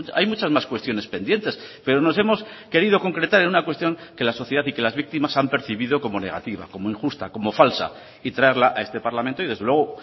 hay muchas más cuestiones pendientes pero nos hemos querido concretar en una cuestión que la sociedad y que las víctimas han percibido como negativa como injusta como falsa y traerla a este parlamento y desde luego